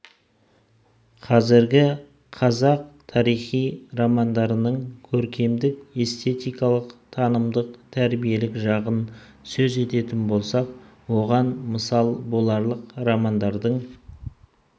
қазіргі қазақ тарихи романдарының көркемдік эстетикалық танымдық тәрбиелік жағын сөз ететін болсақ оған мысал боларлық романдардың